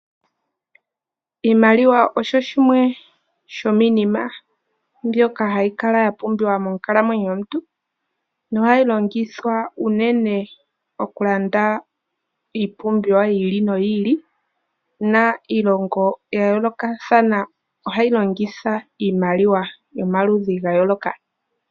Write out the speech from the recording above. Iimaliwa osho shimwe sho miinima mbyoka hayi kala ya pumbiwa monkalamwenyo yomuntu. Ohayi longithwa unene okulanda iipumbiwa yi ili noyi ili. Iilongo ya yoolokathana ohayi longitha iimaliwa yomaludhi ga yooloka